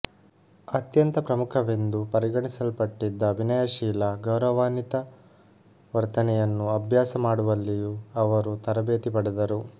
ಅತ್ಯಂತ ಪ್ರಮುಖವೆಂದು ಪರಿಗಣಿಸಲ್ಪಟ್ಟಿದ್ದ ವಿನಯಶೀಲ ಗೌರವಾನ್ವಿತ ವರ್ತನೆಯನ್ನು ಅಭ್ಯಾಸ ಮಾಡುವಲ್ಲಿಯೂ ಅವರು ತರಬೇತಿ ಪಡೆದರು